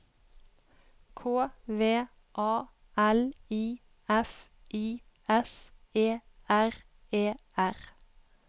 K V A L I F I S E R E R